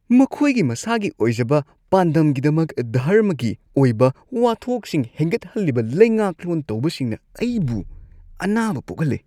ꯃꯈꯣꯏꯒꯤ ꯃꯁꯥꯒꯤ ꯑꯣꯏꯖꯕ ꯄꯥꯟꯗꯝꯒꯤꯗꯃꯛ ꯙꯔꯃꯒꯤ ꯑꯣꯏꯕ ꯋꯥꯊꯣꯛꯁꯤꯡ ꯍꯦꯟꯒꯠꯍꯜꯂꯤꯕ ꯂꯩꯉꯥꯛꯂꯣꯟ ꯇꯧꯕꯁꯤꯡꯅ ꯑꯩꯕꯨ ꯑꯅꯥꯕ ꯄꯣꯛꯍꯜꯂꯤ ꯫